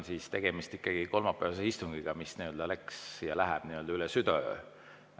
Tegemist on ikkagi kolmapäevase istungiga, mis läks üle südaöö.